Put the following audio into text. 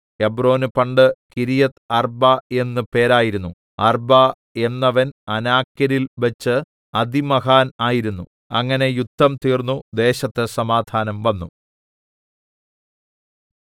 ഹെബ്രോന് പണ്ട് കിര്യത്ത്അർബ്ബാ എന്ന് പേരായിരുന്നു അർബ്ബാ എന്നവൻ അനാക്യരിൽ വെച്ചു അതിമഹാൻ ആയിരുന്നു അങ്ങനെ യുദ്ധം തീർന്നു ദേശത്ത് സമാധാനം വന്നു